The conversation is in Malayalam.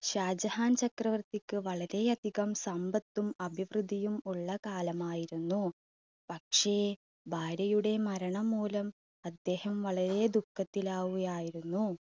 ഷാജഹാൻ ചക്രവർത്തിക്ക് വളരെ അധികം സമ്പത്തും അഭിവൃദ്ധിയും ഉള്ള കാലമായിരുന്നു. പക്ഷേ ഭാര്യയുടെ മരണം മൂലം അദ്ദേഹം വളരെ ദുഃഖത്തിൽ ആവുകയായിരുന്നു.